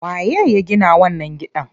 Waye ya gina wannan gidan?